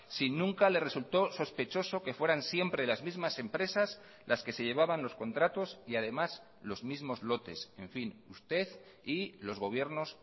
si nunca le resultó sospechoso que fueran siempre las mismas empresas las que se llevaban los contratos y además los mismos lotes en fin usted y los gobiernos